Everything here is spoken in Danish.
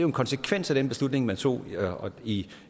en konsekvens af den beslutning man tog i